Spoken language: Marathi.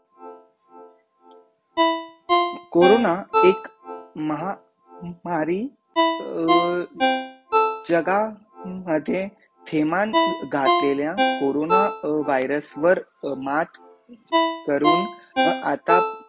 कोरोना एक महामारी अह जगामध्ये न क्रमांन घातलीय कोरोना व्हायरस वर मात करून आता